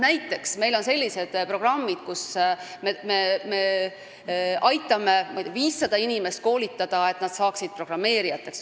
Näiteks on sellised programmid, et me aitame koolitada, ma ei tea, 500 inimest, et nad saaksid programmeerijateks.